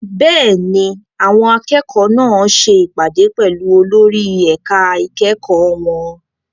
Bẹ́ẹ̀ni, àwọn akẹ́kọ̀ọ́ náà ṣe ìpàdé pẹ̀lú olórí ẹ̀ka ìkẹ́kọ̀ọ́ wọn.